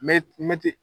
Me mɛtiri